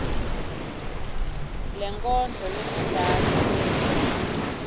lenkondlo lengentasi bese